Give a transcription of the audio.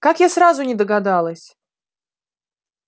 как я сразу не догадалась